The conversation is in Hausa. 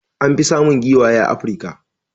An fi samun giwaye a Africa.